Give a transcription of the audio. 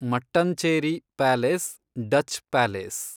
Mattancherry palace, Dutch palace